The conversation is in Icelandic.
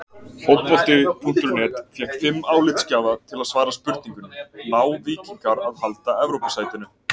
Fótbolti.net fékk fimm álitsgjafa til að svara spurningunni: Ná Víkingar að halda Evrópusætinu?